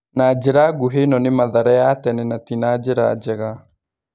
Na njĩra ngũhĩ ĩno nĩ Mathare ya tene na ti na njĩra njega.